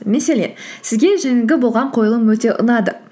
мәселен сізге жаңағы болған қойылым өте ұнады